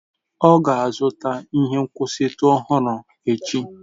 Ọ ga-azụta ihe nkwụsịtụ ọhụrụ echi.